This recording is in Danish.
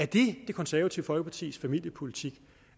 det det konservative folkepartis familiepolitik